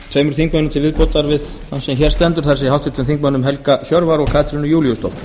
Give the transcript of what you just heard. tveimur þingmönnum til viðbótar við þann sem hér stendur það er háttvirtum þingmönnum helga hjörvar og katrínu júlíusdóttur